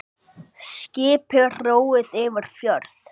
Skipi róið yfir fjörð.